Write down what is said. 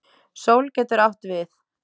Sól getur átt við